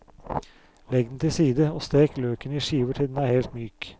Legg den til side, og stek løken i skiver til den er helt myk.